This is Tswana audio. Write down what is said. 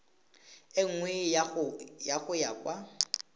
e nngwe go ya kwa